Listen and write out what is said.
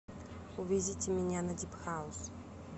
увезите меня на дип хаус